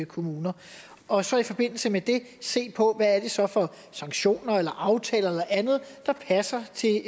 kommuner og så i forbindelse med det se på hvad det så er for sanktioner eller aftaler eller andet der passer til